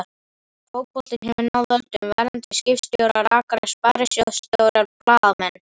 Fótboltinn hefur náð völdum: verðandi skipstjórar, rakarar, sparisjóðsstjórar, blaðamenn.